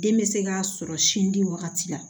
Den bɛ se k'a sɔrɔ sin di wagati la